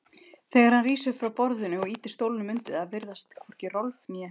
Þegar hann rís upp frá borðinu og ýtir stólnum undir það virðast hvorki Rolf né